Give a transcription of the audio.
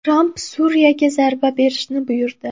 Tramp Suriyaga zarba berishni buyurdi.